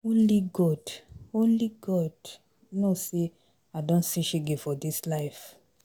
Only God Only God know say I don see shege for dis life.